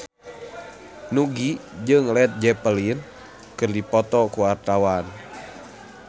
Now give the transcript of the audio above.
Nugie jeung Led Zeppelin keur dipoto ku wartawan